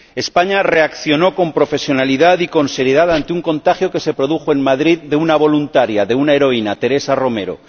España reaccionó con profesionalidad y con seriedad ante un contagio, que se produjo en Madrid, de una voluntaria, de una heroína Teresa Romero.